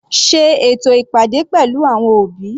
Sé ètò ìpàdé pẹ̀lú àwọn òbí.